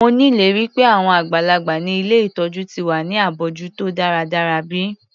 Mo nírètí pé àwọn àgbàlagbà ni ilé ìtọjú ti wà ní abójútó dáradára bi?